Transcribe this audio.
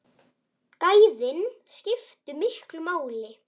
Gæðin skiptu miklu máli.